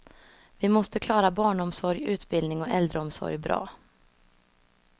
Vi måste klara barnomsorg, utbildning och äldreomsorg bra.